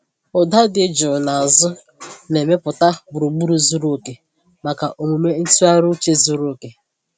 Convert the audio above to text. Ụda dị jụụ n’azụ na-emepụta gburugburu zuru oke maka omume ntụgharị uche zuru oke.